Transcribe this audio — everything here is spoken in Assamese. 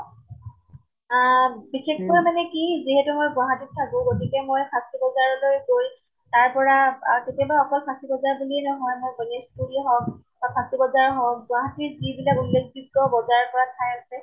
আহ বিশেষকৈ মানে কি যিহেতু মই গুৱাহাটীত থাকো, গতিকে মই ফাঁচী বজাৰলৈ গৈ তাৰ পৰা আহ কেতিয়াবা অকল ফাঁচী বজাৰ বিলিয়ে নহয়, মই গনেশ্গুৰী হওঁক বা ফাঁচী বজাৰ হওঁক গুৱাহাটীত যিবিলাক উল্লেখযোগ্য় বজেৰ কৰা ঠাই আছে